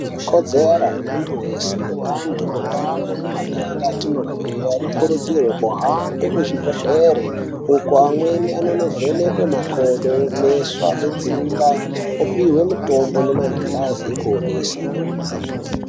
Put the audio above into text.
Ikodzera yemuntu weshe, antu mundau nemaganga atinobve anokurudzirwe kuhambe kuzvibhedhlere uko amweni anonovhenekwaa makodo, meso anotsinga opihwe mitombo nemagirazi okuonesaa.